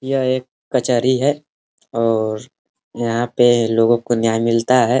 यह एक कचहरी है और यहाँ पे लोगो को न्याय मिलता है।